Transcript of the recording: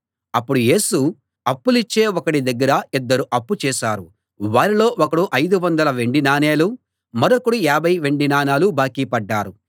అప్పుడు యేసు అప్పులిచ్చే ఒకడి దగ్గర ఇద్దరు అప్పు చేశారు వారిలో ఒకడు ఐదువందల వెండి నాణేలూ మరొకడు యాభై వెండి నాణేలూ బాకీ పడ్డారు